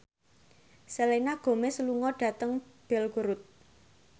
Selena Gomez lunga dhateng Belgorod